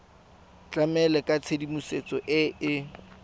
tlamela ka tshedimosetso e e